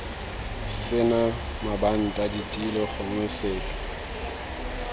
sena mabanta ditilo gongwe sepe